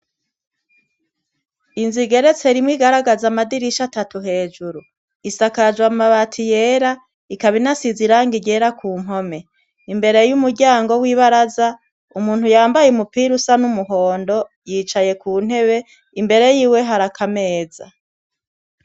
Inz’igeretse rimwe igaragaz’amdirisha atatu hejuru. Isakajw’amabati yera, ikabinasizwe irangi ryera kumpome. Imbere y’umuryango w’ibaraza , umuntu yambay’umupira usa n’umuhondo yicaye kuntebe, Imbere yiwe har’akameza.